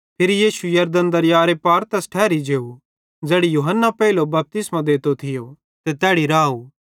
फिरी यीशु यरदन दरयारे पार तैस ठैरी जेव ज़ैड़ी यूहन्ना पेइले बपतिस्मो देतो थियो ते तैड़ी राव